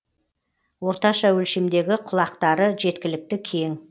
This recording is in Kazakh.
орташа өлшемдегі құлақтары жеткілікті кең